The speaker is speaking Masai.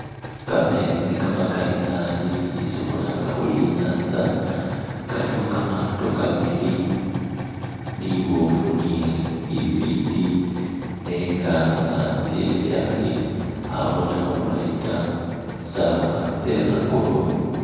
Kametsi kamakali naabi isi kkhulanga khuri inyanza kalikho kamato kabili libofu ni lifiti nenga antse sali khabonekha bulaayi taa saawa tse'angolobe